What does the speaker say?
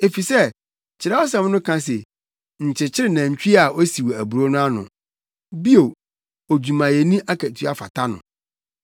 Efisɛ Kyerɛwsɛm no ka se, “Nkyekyere nantwi a osiw aburow no ano!” Bio, “Odwumayɛni akatua fata no!”